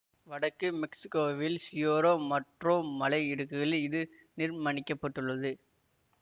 வடக்கு மெக்சிக்கோவில் Sierra Madre மலை இடுக்குகளி இது நிர்மணிக்கப்பட்டுள்ளது